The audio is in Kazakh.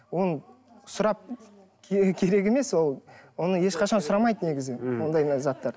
оны сұрап керек емес ол оны ешқашан сұрамайды негізі м ондай заттарды